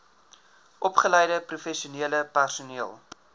opgeleide professionele personeel